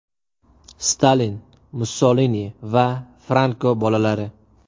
Stalin, Mussolini va Franko bolalari.